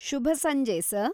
ಶುಭ ಸಂಜೆ, ಸರ್!